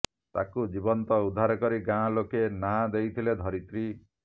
ତାକୁ ଜୀବନ୍ତ ଉଦ୍ଧାର କରି ଗାଁ ଲୋକେ ନାଁ ଦେଇଥିଲେ ଧରିତ୍ରୀ